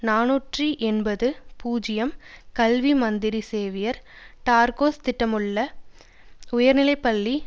நாநூற்று எண்பது பூஜ்ஜியம்கல்வி மந்திரி சேவியர் டார்க்கோஸ் திட்டமிட்டுள்ள உயர்நிலை பள்ளி